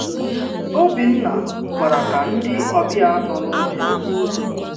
Òbìnna gwàrà ka ndị ọbịa nọ n’ụlọ ya.